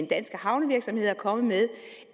danske havnevirksomheder er kommet med